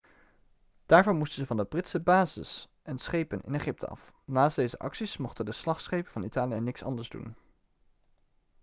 daarvoor moesten ze van de britse bases en schepen in egypte af naast deze acties mochten de slagschepen van italië niks anders doen